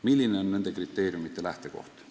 Milline on nende kriteeriumite lähtekoht?